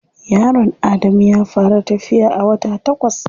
Yaron Adamu ya fara tafiya a wata takwas.